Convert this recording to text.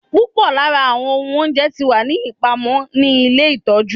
Pupọ awọn ohun ounjẹ ti wa ni ipamọ ni ile itọju